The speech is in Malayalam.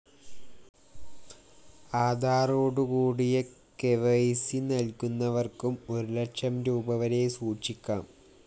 ആധാറോടുകൂടിയ കെവൈസി നല്കുന്നവര്‍ക്കും ഒരു ലക്ഷം രൂപീ വരെ സൂക്ഷിക്കാം